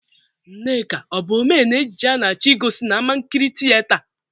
Nneka ọ bụ omee n'ejije a na-achọ igosi n'amankịrị tịyeta?